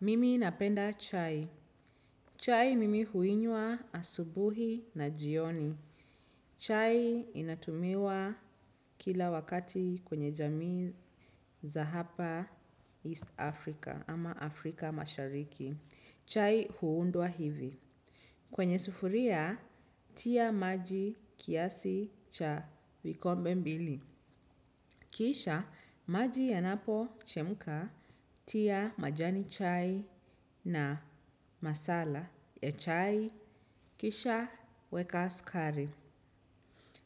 Mimi napenda chai. Chai mimi huinywa asubuhi na jioni. Chai inatumiwa kila wakati kwenye jamii za hapa East Africa ama Afrika mashariki. Chai huundwa hivi. Kwenye sufuria, tia maji kiasi cha vikombe mbili. Kisha, maji yanapo chemka, tia majani chai na masala ya chai. Kisha, weka sukari.